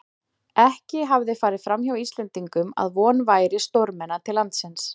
Ekki hafði farið framhjá Íslendingum, að von væri stórmenna til landsins.